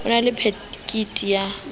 a na le phekiti ya